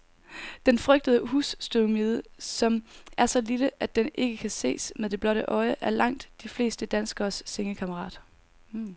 Den frygtede husstøvmide, som er så lille, at den ikke kan ses med det blotte øje, er langt de fleste danskeres sengekammerat.